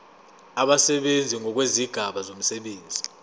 abasebenzi ngokwezigaba zomsebenzi